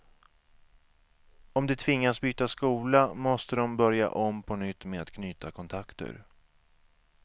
Om de tvingas byta skola måste de börja om på nytt med att knyta kontakter.